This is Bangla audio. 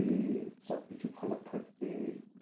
যে সব কিছু ভালো থাকবে?